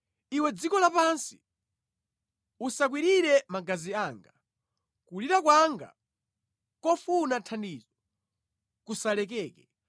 “Iwe dziko lapansi, usakwirire magazi anga; kulira kwanga kofuna thandizo kusalekeke!